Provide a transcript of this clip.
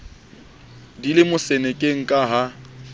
di le mosenekeng ke ha